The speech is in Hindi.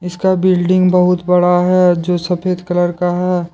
इसका बिल्डिंग बहुत बड़ा है जो सफेद कलर का है।